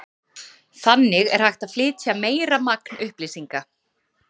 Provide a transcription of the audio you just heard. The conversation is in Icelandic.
þannig er hægt að flytja meira magn upplýsinga